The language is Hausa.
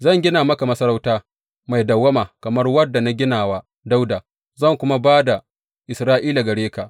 Zan gina maka masarauta mai dawwama kamar wadda na gina wa Dawuda, zan kuma ba da Isra’ila gare ka.